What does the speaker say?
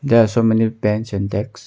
There are so many bench and desks.